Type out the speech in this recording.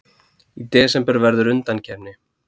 Í desember verður undankeppni.